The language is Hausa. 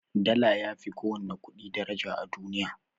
Dala yafi ko wani ƙudi daraja a duniya